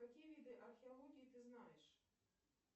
какие виды археологии ты знаешь